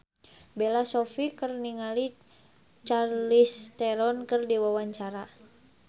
Bella Shofie olohok ningali Charlize Theron keur diwawancara